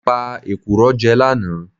Mo pe èkùrọ́ jẹ lánàá